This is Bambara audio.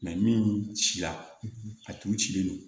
min ci la a tu cilen don